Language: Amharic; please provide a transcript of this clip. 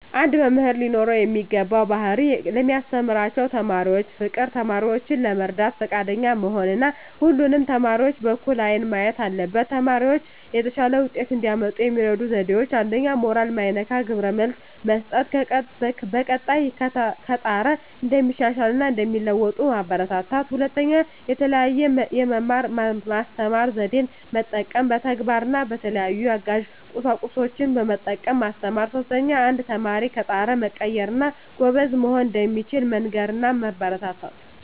አንድ መምህር ሊኖረው የሚገባው ባህሪ ለሚያስተምራቸው ተማሪዎች ፍቅር፣ ተማሪዎችን ለመርዳት ፈቃደኛ መሆን እና ሁሉንም ተማሪዎች በእኩል አይን ማየት አለበት። ተማሪዎች የተሻለ ውጤት እንዲያመጡ የሚረዱ ዜዴዎች 1ኛ. ሞራል ማይነካ ግብረ መልስ መስጠት፣ በቀጣይ ከጣረ እንደሚሻሻል እና እንደሚለዎጡ ማበራታታት። 2ኛ. የተለየ የመማር ማስተማር ዜዴን መጠቀም፣ በተግባር እና በተለያዩ አጋዥ ቁሳቁሶችን በመጠቀም ማስተማር። 3ኛ. አንድ ተማሪ ከጣረ መቀየር እና ጎበዝ መሆን እንደሚችል መንገር እና ማበረታታት።